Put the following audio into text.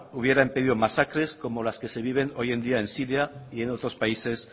hubiera impedido masacres como las que se viven hoy en día en siria y en otros países